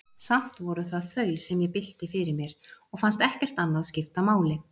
Samt voru það þau, sem ég bylti fyrir mér, og fannst ekkert annað skipta máli.